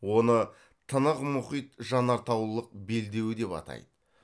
оны тынық мұхит жанартаулық белдеуі деп атайды